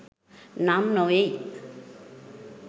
නම් නො වෙයි.